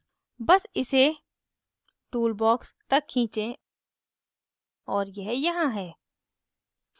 box इसे tool box तक खींचें और यह यहाँ है